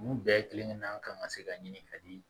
Olu bɛɛ kelen kelenna kan ka se ka ɲini ka di